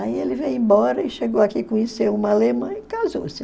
Aí ele veio embora e chegou aqui, conheceu uma alemã e casou-se.